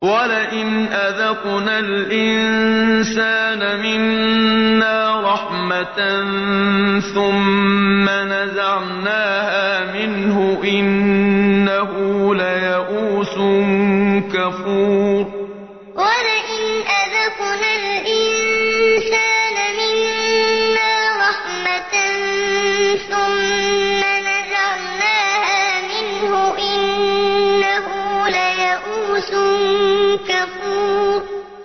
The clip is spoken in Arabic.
وَلَئِنْ أَذَقْنَا الْإِنسَانَ مِنَّا رَحْمَةً ثُمَّ نَزَعْنَاهَا مِنْهُ إِنَّهُ لَيَئُوسٌ كَفُورٌ وَلَئِنْ أَذَقْنَا الْإِنسَانَ مِنَّا رَحْمَةً ثُمَّ نَزَعْنَاهَا مِنْهُ إِنَّهُ لَيَئُوسٌ كَفُورٌ